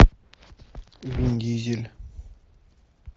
вин дизель